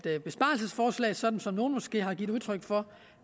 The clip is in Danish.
et besparelsesforslag sådan som nogle måske har givet udtryk for